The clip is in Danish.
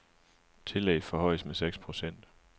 Tillæg forhøjes med seks procent.